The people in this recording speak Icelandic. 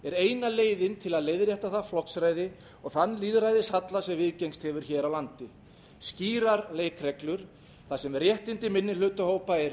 eina leiðin til að leiðrétta það flokksræði og þann lýðræðishalla sem viðgengist hefur hér á landi skýrar leikreglur þar sem réttindi minnihlutahópa eru